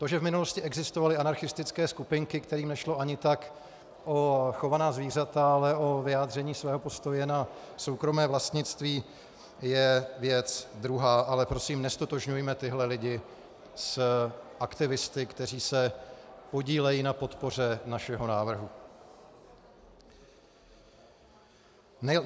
To, že v minulosti existovaly anarchistické skupinky, kterým nešlo ani tak o chovaná zvířata, ale o vyjádření svého postoje na soukromé vlastnictví, je věc druhá, ale prosím, neztotožňujme tyto lidi s aktivisty, kteří se podílejí na podpoře našeho návrhu.